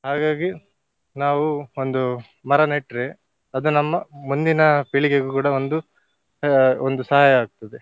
ಹಾಗಾಗಿ ನಾವು ಒಂದು ಮರ ನೆಟ್ರೆ ಅದು ನಮ್ಮ ಮುಂದಿನ ಪೀಳಿಗೆಗೆ ಕೂಡ ಒಂದು ಆ ಒಂದು ಸಹಾಯ ಆಗ್ತದೆ.